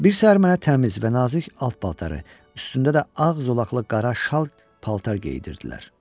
Bir səhər mənə təmiz və nazik alt paltarı, üstündə də ağ zolaqlı qara şal paltar geyindirdilər.